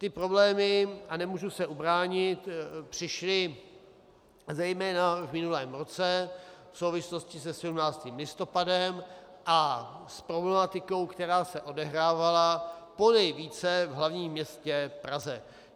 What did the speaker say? Ty problémy - a nemůžu se ubránit - přišly zejména v minulém roce v souvislosti se 17. listopadem a s problematikou, která se odehrávala ponejvíce v hlavním městě Praze.